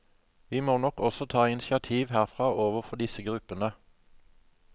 Vi må nok også ta initiativ herfra overfor disse gruppene.